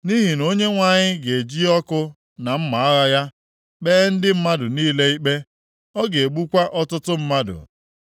Nʼihi na Onyenwe anyị ga-eji ọkụ na mma agha ya kpee ndị mmadụ niile ikpe. Ọ ga-egbukwa ọtụtụ mmadụ.